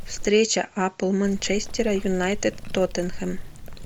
встреча апл манчестера юнайтед тоттенхэм